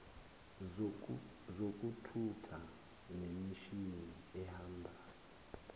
zokuthutha nemishini ehambayo